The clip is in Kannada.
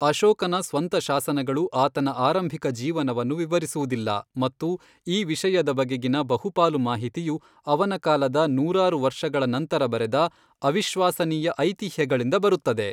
ಅಶೋಕನ ಸ್ವಂತ ಶಾಸನಗಳು ಆತನ ಆರಂಭಿಕ ಜೀವನವನ್ನು ವಿವರಿಸುವುದಿಲ್ಲ ಮತ್ತು ಈ ವಿಷಯದ ಬಗೆಗಿನ ಬಹುಪಾಲು ಮಾಹಿತಿಯು ಅವನ ಕಾಲದ ನೂರಾರು ವರ್ಷಗಳ ನಂತರ ಬರೆದ ಅವಿಶ್ವಾಸನೀಯ ಐತಿಹ್ಯಗಳಿಂದ ಬರುತ್ತದೆ.